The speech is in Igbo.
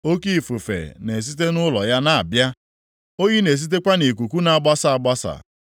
Oke ifufe na-esite nʼụlọ ya na-abịa, oyi na-esitekwa nʼikuku na-agbasa agbasa.